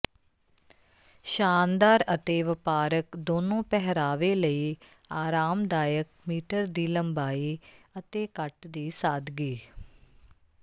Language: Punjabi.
ਸ਼ਾਨਦਾਰ ਅਤੇ ਵਪਾਰਕ ਦੋਨੋਂ ਪਹਿਰਾਵੇ ਲਈ ਆਰਾਮਦਾਇਕ ਮਿੀ ਦੀ ਲੰਬਾਈ ਅਤੇ ਕੱਟ ਦੀ ਸਾਦਗੀ